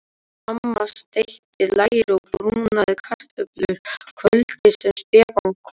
Amma steikti læri og brúnaði kartöflur kvöldið sem Stefán kom.